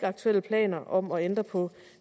aktuelle planer om at ændre på